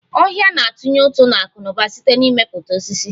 Ọhia na-atunye ụtụ n'akụnauba site na mmepụta osisi